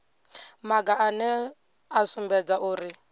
maga ane a sumbedza uri